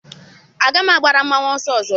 Agaghị agbara mmanwụ ọsọ ọzọ.